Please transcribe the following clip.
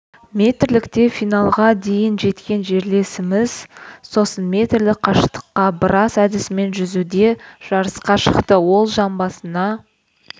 метрлікте финалға дейін жеткен жерлесіміз сосын метрлік қашықтыққа брасс әдісімен жүзуде жарысқа шықты оң жамбасына